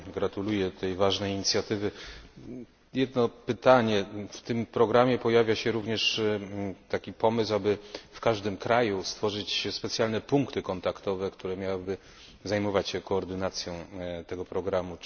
Gratuluję tej ważnej inicjatywy. Mam jedno pytanie. W tym programie pojawia się również pomysł, aby w każdym kraju stworzyć specjalne punkty kontaktowe, które miałyby zajmować się koordynacją tego programu.